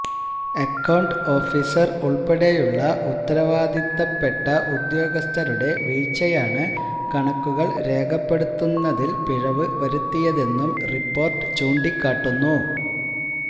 account officer ഉള്പ്പെടെയുള്ള ഉത്തരവാദിത്തപ്പെട്ട ഉദ്യോഗസ്ഥരുടെ വീഴ്ചയാണ് കണക്കുകള് രേഖപ്പെടുത്തുന്നതില് പിഴവ് വരുത്തിയതെന്നും റിപ്പോര്ട്ട് ചൂണ്ടിക്കാട്ടുന്നു